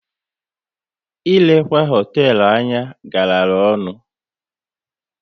Ilekwa hoteelu anya gara ọnụ